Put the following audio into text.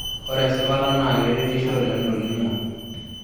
Ore esipata naa keretisho oleng tolning'o.